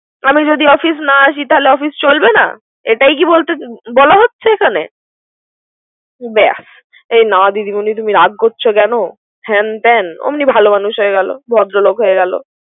আমি যদি অফিস না আমি তাহলে কি অফিস চলবে না। এটা কি বলা হচ্ছে এখানে। বেস না দিদি মনি তুমি রাগ করছো কেন। হ্যান ত্যান ওমনি ভালে মানুষ হয়ে গেল। ভদ্র মানুষ হয়ে গেলে।